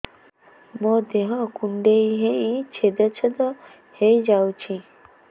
ମୋ ଦେହ କୁଣ୍ଡେଇ ହେଇ ଛେଦ ଛେଦ ହେଇ ଯାଉଛି